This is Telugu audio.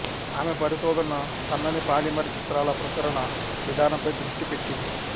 ఆమె పరిశోధన సన్నని పాలిమర్ చిత్రాల ప్రసరణ విధానంపై దృష్టి పెట్టింది